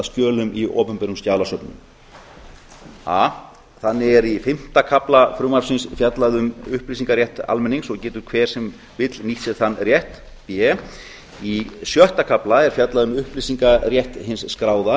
skjölum í opinberum skjalasöfnum a þannig er í fimmta kafla frumvarpsins fjallað um upplýsingarétt almennings og getur hver sem vill nýtt sér þann rétt b í sjötta kafla er fjallað um upplýsingarétt hins skráða